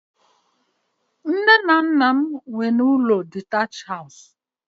Nne na nna m ochie nwere ụlọ ọkara